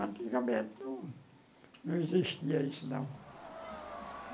Antigamente, não não existia isso, não.